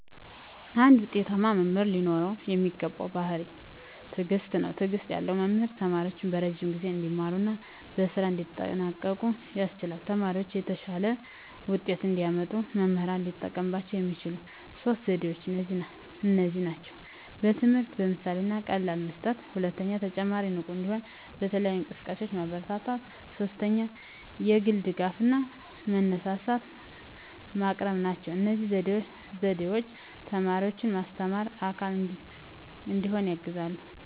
አንድ ውጤታማ መምህር ሊኖረው የሚገባው ባሕርይ ትዕግስት ነው። ትዕግስት ያለው መምህር ተማሪዎቹን በረዥም ጊዜ እንዲማሩ እና በስራም እንዲጠንቀቁ ያስችላል። ተማሪዎቻቸው የተሻለ ውጤት እንዲያመጡ መምህራን ሊጠቀሙባቸው የሚችሉት ሦስት ዘዴዎች እነዚህ ናቸው፦ ትምህርትን በምሳሌ እና በቀላል መስጠት፣ 2) ተማሪዎችን ንቁ እንዲሆኑ በተለያዩ እንቅስቃሴዎች ማበረታታት፣ 3) የግል ድጋፍ እና መነሳሳት ማቅረብ ናቸው። እነዚህ ዘዴዎች ተማሪዎችን ማስተማርና አካል እንዲሆኑ ያግዛሉ።